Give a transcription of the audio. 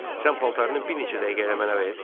Sən paltarını bir neçə dəqiqəliyə mənə ver.